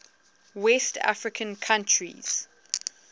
west african countries